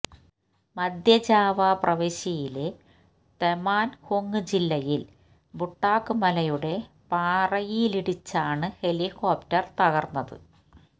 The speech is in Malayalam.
മധ്യ ജാവ പ്രവിശ്യയിലെ തെമാന്ഗുങ് ജില്ലയില് ബുട്ടാക് മലയുടെ പാറയിലിടിച്ചാണ് ഹെലിക്കോപ്റ്റര് തകര്ന്നത്